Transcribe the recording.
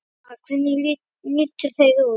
Lára: Hvernig litu þeir út?